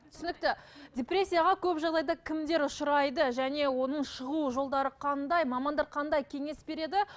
түсінікті депрессияға көп жағдайда кімдер ұшырайды және оның шығу жолдары қандай мамандар қандай кеңес береді